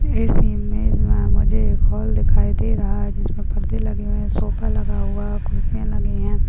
इस इमेज में मुझे एक हॉल दिखाई दे रहा है जिसमें परदे लगे हुए है सोफा लगा हुआ है कुर्सियां लगी है।